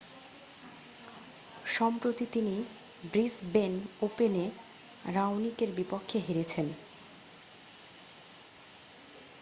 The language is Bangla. সম্প্রতি তিনি ব্রিসবেন ওপেনে রাওনিকের বিপক্ষে হেরেছেন